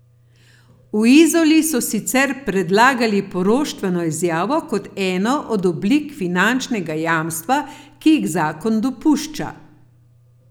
V Izoli so sicer predlagali poroštveno izjavo kot eno od oblik finančnega jamstva, ki jih zakon dopušča.